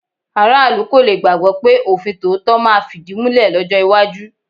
Aráàlú kò le gbàgbọ́ pé òfin tòótọ́ máa fìdímúlẹ̀ lọ́jọ́ iwájú.